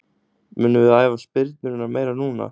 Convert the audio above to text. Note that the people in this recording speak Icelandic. Munum við æfa spyrnurnar meira núna?